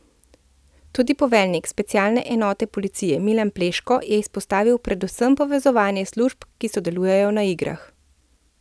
Tudi poveljnik specialne enote policije Milan Pleško je izpostavil predvsem povezovanje služb, ki sodelujejo na igrah.